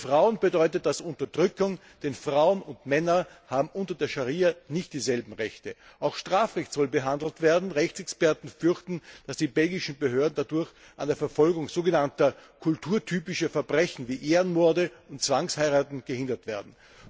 Für Frauen bedeutet das Unterdrückung, denn Frauen und Männer haben unter der Scharia nicht dieselben Rechte. Auch Strafrecht soll behandelt werden. Rechtsexperten fürchten, dass die belgischen Behörden dadurch an der Verfolgung sogenannter kulturtypischer Verbrechen wie Ehrenmorde und Zwangsheiraten gehindert werden.